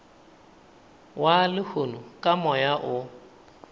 wa lehono ka moya o